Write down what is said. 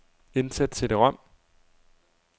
Indsæt cd-rom.